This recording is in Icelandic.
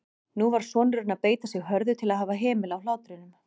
Nú varð sonurinn að beita sig hörðu til að hafa hemil á hlátrinum.